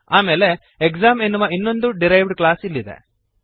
ಆಮೇಲೆ ಎಕ್ಸಾಮ್ ಎನ್ನುವ ಇನ್ನೊಂದು ಡಿರೈವ್ಡ್ ಕ್ಲಾಸ್ ಇಲ್ಲಿದೆ